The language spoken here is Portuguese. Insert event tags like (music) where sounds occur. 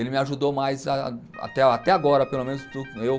Ele me ajudou mais até agora, pelo menos, (unintelligible) eu